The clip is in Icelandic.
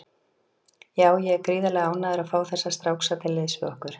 Já, ég er gríðarlega ánægður að fá þessa stráka til liðs við okkur.